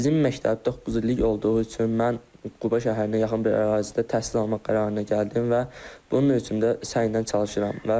Bizim məktəb doqquz illik olduğu üçün mən Quba şəhərinə yaxın bir ərazidə təhsil almaq qərarına gəldim və bunun üçün də səylə çalışıram.